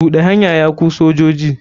Buɗe hanya ya ku sojoji.